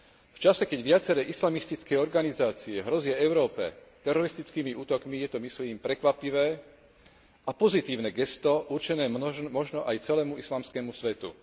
V čase, keď viaceré islamistické organizácie hrozia Európe teroristickými útokmi, je to, myslím, prekvapivé a pozitívne gesto určené možno aj celému islamskému svetu.